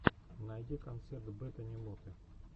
найди концерт бетани моты